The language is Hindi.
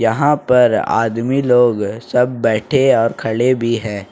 यहां पर आदमी लोग सब बैठे और खड़े भी हैं।